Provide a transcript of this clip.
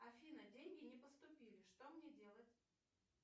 афина деньги не поступили что мне делать